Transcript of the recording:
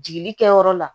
Jigili kɛyɔrɔ la